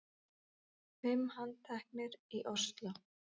Fimm handteknir í Ósló